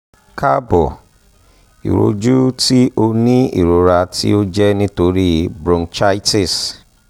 káàbọ̀ ìrojú ti o ni irora ti o jẹ nitori bronchitis